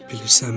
Bilirsənmi?